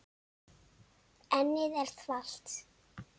Ennið er þvalt.